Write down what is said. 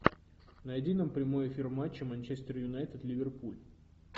найди нам прямой эфир матча манчестер юнайтед ливерпуль